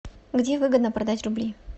где выгодно продать рубли